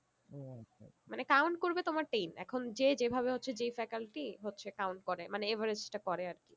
মানে count করবে তোমার ten এখন যে যে ভাবে হচ্ছে যে faculty হচ্ছে count করে মানে average টা করে আর কি